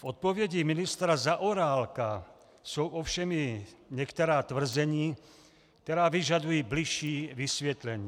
V odpovědi ministra Zaorálka jsou ovšem i některá tvrzení, která vyžadují bližší vysvětlení.